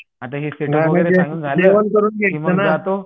जेवण करून घायच ना